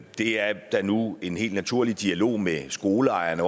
det er der nu en helt naturlig dialog med skoleejerne